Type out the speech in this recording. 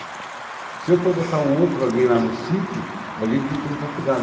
Se eu for botar um outro alguém lá no sítio, é alguém que não tem faculdade.